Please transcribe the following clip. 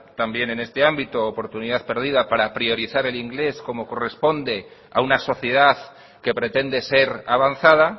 también en este ámbito oportunidad perdida para priorizar el inglés como corresponde a una sociedad que pretende ser avanzada